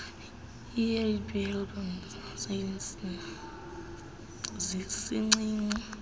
ihdpe neldpe sincinci